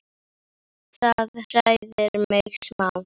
Það hræðir mig smá.